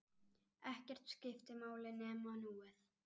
Ekkert skipti máli nema núið.